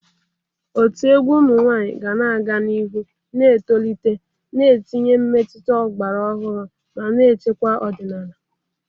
Otu egwu ụmụ nwanyị ga-aga n'ihu na-etolite, na-etinye mmetụta ọgbara ọhụrụ ma na-echekwa ọdịnala.